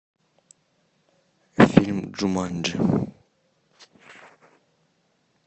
фильм джуманджи